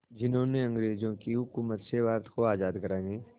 जिन्होंने अंग्रेज़ों की हुकूमत से भारत को आज़ाद कराने